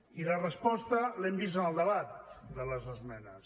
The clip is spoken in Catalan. i la resposta l’hem vist en el debat de les esmenes